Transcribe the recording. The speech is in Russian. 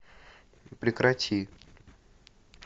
прекрати